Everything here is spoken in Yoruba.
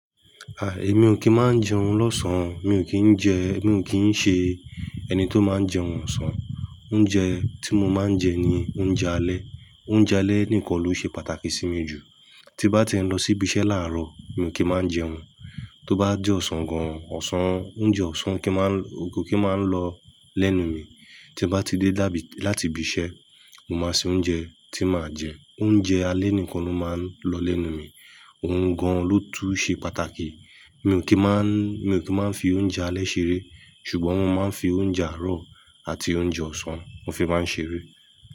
Ah, èmi ò kí ń máa ń jẹun lọ́sàn-án. Èmi ò kí ń jẹ, èmi ò kí ń ṣe ẹni tó máa ń jẹun ọ̀sán. Oúnjẹ tí mo máa ń jẹ ni oúnjẹ alẹ́. Oúnjẹ alẹ́ nìkan ló ṣe pàtàkì sí mi jù. Tí n bá ti ń lọ sí ibi iṣẹ́ láàárọ̀, mi ò kí máa ń jẹun. Tí ó bá jẹ́ ọ̀sán gan-an, ọ̀sán, oúnjẹ ọ̀sán kì í máa ń lọ, ò kí máa ń lọ lẹ́nu mi. Tí bá ti dé láti ibi iṣẹ́, mo máa ṣe oúnjẹ tí màá jẹ. Oúnjẹ alẹ́ nìkan ló máa ń lọ lẹ́nu mi. Òun gan-an ló tún ṣe pàtàkì. Èmi ò kí máa ń, èmi ò kí máa ń fi oúnjẹ alẹ́ ṣeré, ṣùgbọ́n mo máa ń fi oúnjẹ àárọ̀ àti oúnjẹ ọ̀sán, mo fi máa ń ṣeré.